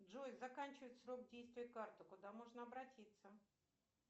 джой заканчивается срок действия карты куда можно обратиться